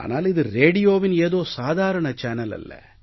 ஆனால் இது ரேடியோவின் ஏதோ சாதாரண சேனல் அல்ல